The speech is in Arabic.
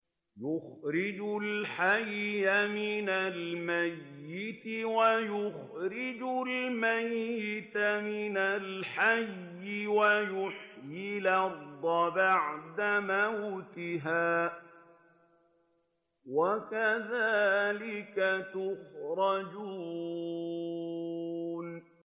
يُخْرِجُ الْحَيَّ مِنَ الْمَيِّتِ وَيُخْرِجُ الْمَيِّتَ مِنَ الْحَيِّ وَيُحْيِي الْأَرْضَ بَعْدَ مَوْتِهَا ۚ وَكَذَٰلِكَ تُخْرَجُونَ